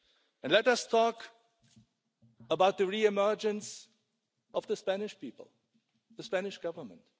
And let us talk about the re-emergence of the Spanish people and the Spanish Government.